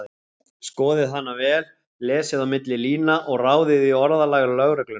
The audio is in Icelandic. Skoðið hana vel, lesið á milli lína og ráðið í orðalag lögreglunnar.